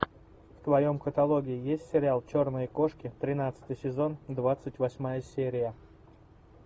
в твоем каталоге есть сериал черные кошки тринадцатый сезон двадцать восьмая серия